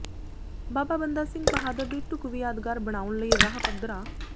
ਬਾਬਾ ਬੰਦਾ ਸਿੰਘ ਬਹਾਦਰ ਦੀ ਢੁੱਕਵੀਂ ਯਾਦਗਾਰ ਬਣਾਉਣ ਲਈ ਰਾਹ ਪੱਧਰਾ